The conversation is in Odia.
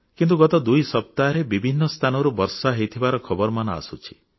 କିନ୍ତୁ ଗତ ଦୁଇ ସପ୍ତାହରେ ବିଭିନ୍ନ ସ୍ଥାନରୁ ବର୍ଷା ହୋଇଥିବାର ଖବରମାନ ଆସୁଛି